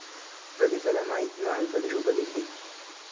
പ്രതിഫലമായി നാൽപ്പതു രൂപീ കിട്ടി.